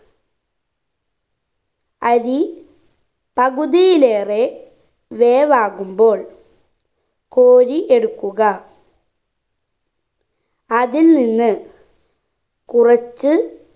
അരി പകുതിയിലേറെ വേവാകുമ്പോൾ കോരി എടുക്കുക അതിൽ നിന്ന് കുറച്ച്